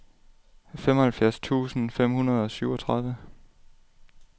femoghalvfjerds tusind fem hundrede og syvogtredive